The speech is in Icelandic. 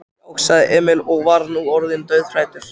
Já, sagði Emil og var nú orðinn dauðhræddur.